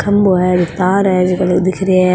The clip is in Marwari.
खम्भों है एक तार है जीका दिख रिहे है।